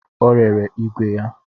Ọ rere ìgwè ya